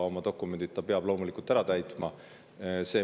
Oma dokumendid peab ta loomulikult ära täitma.